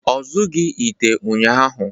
Ọ zụọghị ite ụnyahụ